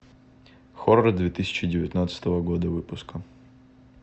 хоррор две тысячи девятнадцатого года выпуска